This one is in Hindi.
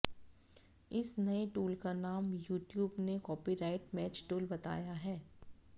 इस नए टूल का नाम यूट्यूब ने कॉपीराइट मैच टूल बताया है